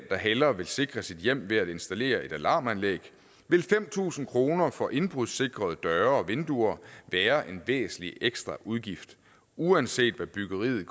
eller hellere vil sikre sit hjem ved at installere et alarmanlæg vil fem tusind kroner for indbrudssikrede døre og vinduer være en væsentlig ekstra udgift uanset hvad byggeriet i